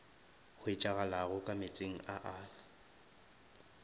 hwetšagalago ka meetseng a a